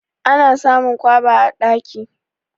Ana samun kwaba a daki.